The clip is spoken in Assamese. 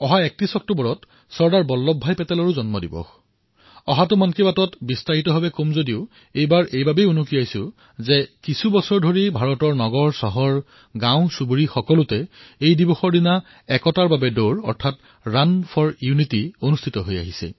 ৩১ অক্টোবৰ চৰ্দাৰ চাহাবৰ জয়ন্তী মই পৰৱৰ্তী মন কি বাতত বিস্তাৰিত ৰূপত ইয়াৰ বিষয়ে কম কিন্তু আজি মই উল্লেখ কৰিব বিচাৰিছোঁ যে কিছু বছৰৰ পৰা চৰ্দাৰ চাহাবৰ জয়ন্তীত ৩১ অক্টোবৰত ৰাণ ফৰ ইউনিটী ভাৰতৰ সৰুবৰ চহৰত গাঁৱত একতাৰ বাবে দৌৰ ইয়াৰ আয়োজন কৰা হৈছে